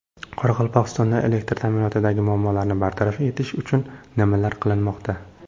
Qoraqalpog‘istonda elektr ta’minotidagi muammolarni bartaraf etish uchun nimalar qilinmoqda?